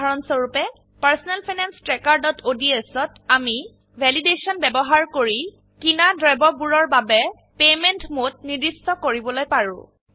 উদাহৰণস্বৰুপে personnel finance ট্ৰ্যাকাৰodsত আমি ভ্যালিডেশন ব্যবহাৰ কৰি কিনা দ্ৰব্যবোৰৰ বাবে পেমেন্ট মোড নিৰ্দিষ্ট কৰিবলৈ পাৰো